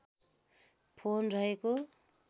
phone रहेको